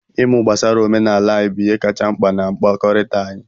Ịmụ gbasara omenala anyị bụ ihe kacha mkpa na mkpakọrịta anyị.